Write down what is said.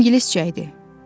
İngiliscə idi.